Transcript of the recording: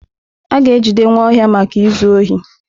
A ga-ejide Nwaohia maka izu ohi.